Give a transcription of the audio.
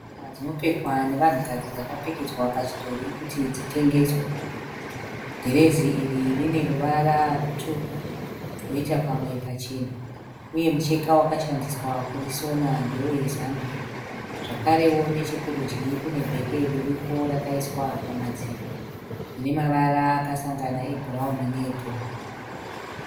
Mbatya dzinopfekwa nevanhukadzi dzakapfekedzwa pachidhori kuti dzitengeswe , dhirezi iri rine ruvara rutsvuku roita pamwe pachena uye mucheka wakashandiswa kurisona ndewe zambia zvakarewo nechekurudyi kune bheke ririko rakaiswa pamadziro rine mavara akasangana ebhurauni neebhuruu.